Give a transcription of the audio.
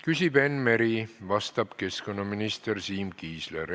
Küsib Enn Meri, vastab keskkonnaminister Siim Kiisler.